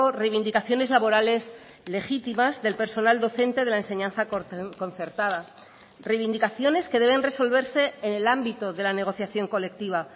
reivindicaciones laborales legítimas del personal docente de la enseñanza concertada reivindicaciones que deben resolverse en el ámbito de la negociación colectiva